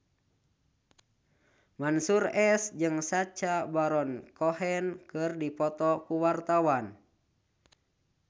Mansyur S jeung Sacha Baron Cohen keur dipoto ku wartawan